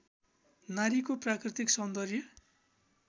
नारीको प्राकृतिक सौन्दर्य